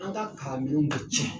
An ka kan minɛnw be cɛn